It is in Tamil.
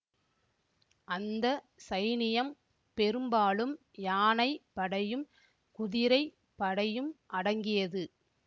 அந்த சைனியம் பெரும்பாலும் யானை படையும் குதிரை படையும் அடங்கியது